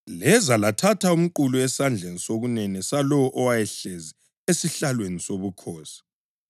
Leza lathatha umqulu esandleni sokunene salowo owayehlezi esihlalweni sobukhosi.